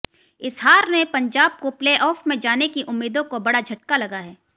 इस हार ने पंजाब को प्लेऑफ में जाने की उम्मीदों को बड़ा झटका लगा है